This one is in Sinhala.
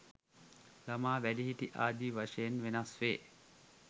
ළමා, වැඩිහිටි ආදි වශයෙන් වෙනස් වේ.